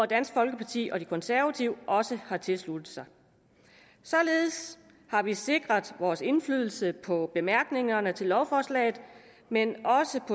dansk folkeparti og de konservative også tilsluttet sig således har vi sikret vores indflydelse på bemærkningerne til lovforslaget men